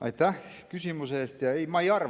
Aitäh küsimuse eest!